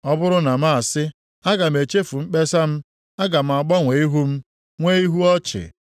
Ọ bụrụ na m sị, ‘Aga m echefu mkpesa m, aga m agbanwe ihu m, nwee ihu ọchị.’